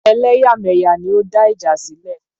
Ẹlẹ́yàmẹ̀yà ni ó ń dá ìjà sílẹ̀.